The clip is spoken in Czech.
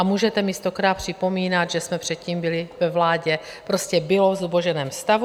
A můžete mi stokrát připomínat, že jsme předtím byli ve vládě, prostě bylo v zuboženém stavu.